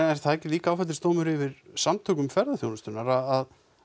það ekki líka áfellisdómur yfir Samtökum ferðaþjónustunnar að